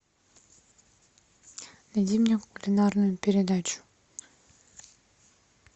найди мне кулинарную передачу